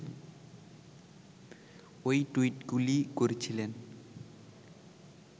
ওই টুইটগুলি করেছিলেন